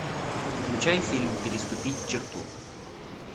включай фильм переступить черту